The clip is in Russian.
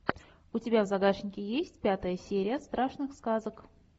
у тебя в загашнике есть пятая серия страшных сказок